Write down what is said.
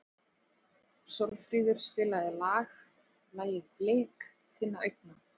Sólfríður, spilaðu lagið „Blik þinna augna“.